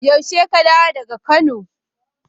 Yaushe ka dawo daga Kano?